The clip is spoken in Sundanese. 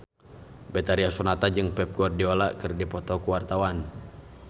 Betharia Sonata jeung Pep Guardiola keur dipoto ku wartawan